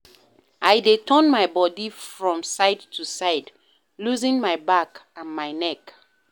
I dey turn my bodi from side to side, loosen my back and my neck.